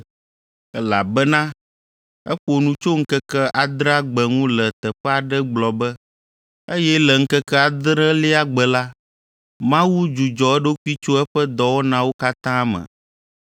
Elabena eƒo nu tso ŋkeke adrea gbe ŋu le teƒe aɖe gblɔ be, “Eye le ŋkeke adrelia gbe la, Mawu dzudzɔ eɖokui tso eƒe dɔwɔnawo katã me.”